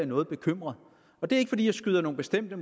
noget bekymret og det er ikke fordi jeg skyder nogle bestemte